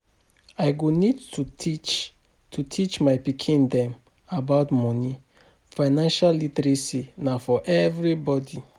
I go need to teach to teach my pikin dem about moni, financial literacy na for everybody